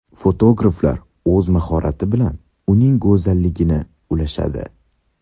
Fotograflar o‘z mahorati bilan uning go‘zalligini ulashadi.